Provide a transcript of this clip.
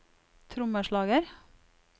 trommeslager